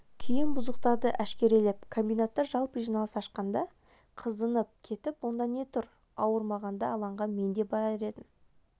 кейін бұзықтарды әшкерелеп комбинатта жалпы жиналыс ашқанда қызынып кетіп онда не тұр ауырмағанда алаңға мен де барар едім